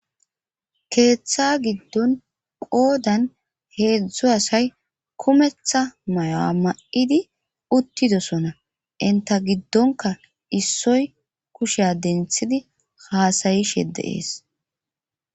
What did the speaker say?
keeththa giddon qoodan heedzdzu asay kumetha maya ma'idi uttidosona inta giddonka issoy kusheya denthidi haasayishe de'ees